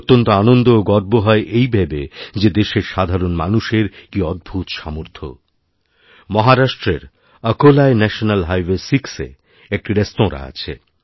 অত্যন্ত আনন্দ ও গর্ব হয় এই ভেবে যে দেশের সাধারণ মানুষের কীঅদ্ভূত সামর্থ মহারাষ্ট্রের আকোলায় ন্যাশনাল হাইওয়ে সিক্সএ একটি রেস্তোরাঁ আছে